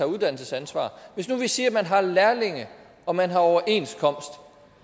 uddannelsesansvar hvis nu vi siger at man har lærlinge og man har overenskomst